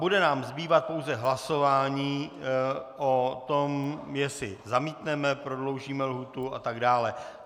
Bude nám zbývat pouze hlasování o tom, jestli zamítneme, prodloužíme lhůtu atd.